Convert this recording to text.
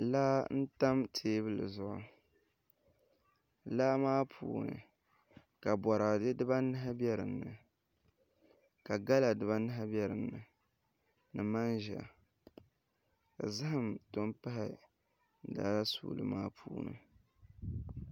Laa n tam teebuli zuɣu laa maa puuni ka boraadɛ dibanahi bɛ dinni ka gala dibanahi bɛ dinni ni manʒa ka zaham tom pahi laa suuli maa puuni